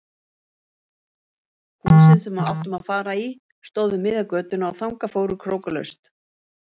Húsið sem við áttum að fara í stóð við miðja götuna og þangað fóru krókalaust.